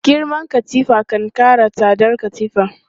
Girman katifa kan kara tsadar katifan.